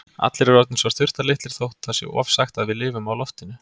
Allir eru orðnir svo þurftarlitlir þótt það sé ofsagt að við lifum á loftinu.